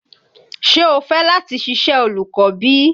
Ṣé o fẹ láti ṣiṣẹ́ olùkọ́ bí?